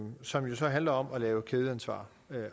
som jo så handler om at lave kædeansvar